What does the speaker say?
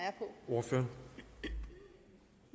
og det vil